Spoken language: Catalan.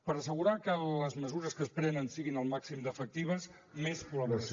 per assegurar que les mesures que es prenen siguin al màxim d’efectives més col·laboració